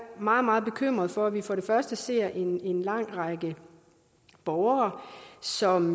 meget meget bekymret for at vi for det første ser en lang række borgere som